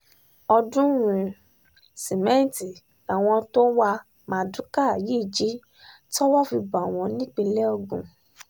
ọ̀ọ́dúnrún sìmẹ́ǹtì làwọn tó ń wá mardukà yìí jí towó fi bá wọn nípìnlẹ̀ ogun